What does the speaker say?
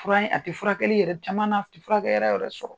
Fura ye, a tɛ furakɛli yɛrɛ cama na, a tɛ furakɛ yɔrɔ yɛrɛ sɔrɔ.